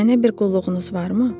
Mənə bir qulluğunuz varmı?